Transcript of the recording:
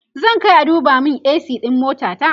zan Kai a duba min a.c ɗin motata